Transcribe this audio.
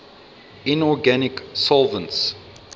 inorganic solvents